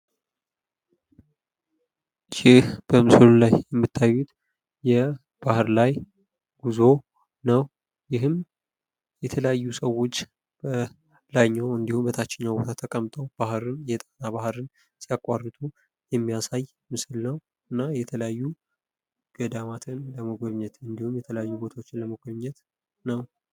ይህ በምስሉ ላይ የምታዩት በባህር ላይ ጉዞ ነው ይህም የተለያዩ ሰዎች ላይኛው እንዲሁም ታችኛው ቦታ ላይ ተቀምጠው ባህርን የጣና ባህርን ሲያቋርጡ የሚያሳይ ምስል ነው እና የተለያዩ ገዳማትን ለመጎብኘት እንዲሁም የተለያዩ ቦታዎችን ለመጎብኘት ነው።